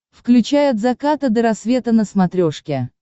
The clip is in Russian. включай от заката до рассвета на смотрешке